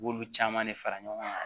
I b'olu caman de fara ɲɔgɔn kan